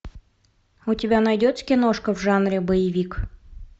у тебя найдется киношка в жанре боевик